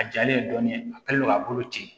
A jalen dɔɔnin a kɛlen do k'a bolo ci